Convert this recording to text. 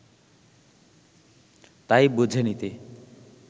তাই বুঝে নিতে